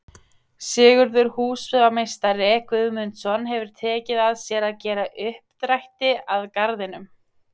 Sigurður húsameistari Guðmundsson hefir tekið að sér að gera uppdrætti að Garðinum.